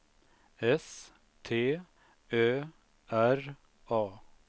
S T Ö R A